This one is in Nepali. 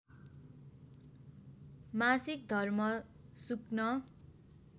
मासिक धर्म सुक्न